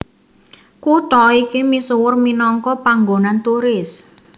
Kutha iki misuwur minangka panggonan turis